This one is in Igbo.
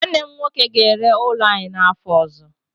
Nwanne m nwoke ga-ere ụlọ anyị n'afọ ọzọ.